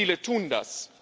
Viele tun das.